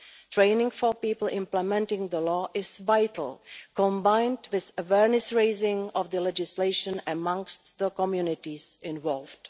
Training for people implementing the law is vital, combined with raising awareness of the legislation amongst the communities involved.